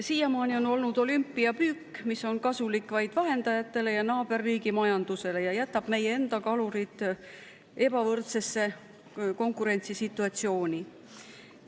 Siiamaani on olnud olümpiapüük, mis on kasulik vaid vahendajatele ja naaberriigi majandusele ning jätab meie enda kalurid ebavõrdsesse konkurentsisituatsiooni.